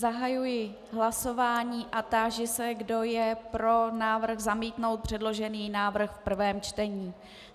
Zahajuji hlasování a táži se, kdo je pro návrh zamítnout předložený návrh v prvém čtení.